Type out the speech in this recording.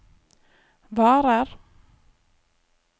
varer